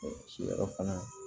ciyɔrɔ fana